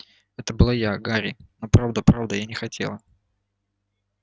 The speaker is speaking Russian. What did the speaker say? это была я гарри но правда правда я не хотела